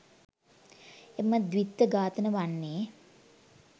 එම ද්විත්ව ඝාතන වන්නේ